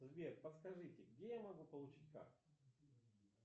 сбер подскажите где я могу получить карту